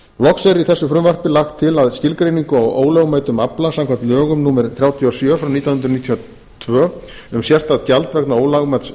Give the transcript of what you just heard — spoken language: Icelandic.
loks er í þessu frumvarpi lagt til að skilgreiningu á ólögmætum afla samkvæmt lögum númer þrjátíu og sjö nítján hundruð níutíu og tvö um sérstakt gjald vegna ólögmæts